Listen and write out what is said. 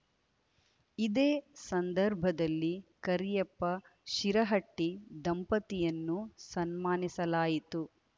ಇದೇ ಸಂದರ್ಭದಲ್ಲಿ ಕರಿಯಪ್ಪ ಶಿರಹಟ್ಟಿ ದಂಪತಿಯನ್ನು ಸನ್ಮಾನಿಸಲಾಯಿತು